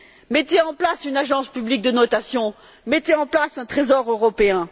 Mettez en place une agence publique de notation, mettez en place un Trésor européen.